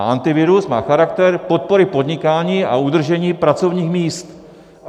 A Antivirus má charakter podpory podnikání a udržení pracovních míst.